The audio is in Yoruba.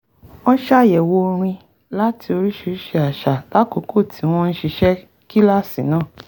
wọ́n ṣàyẹ̀wò orin láti oríṣiríṣi àṣà lákòókò tí wọ́n ń ṣiṣẹ́ kíláàsì náà